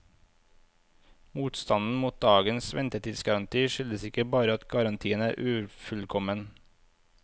Motstanden mot dagens ventetidsgaranti, skyldes ikke bare at garantien er ufullkommen.